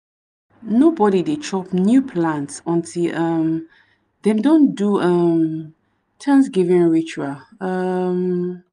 nobody dey chop new plant until um dem don do um thanksgiving ritual. um